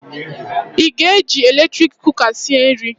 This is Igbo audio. Ị ga-eji eletrik kụka sịe nri?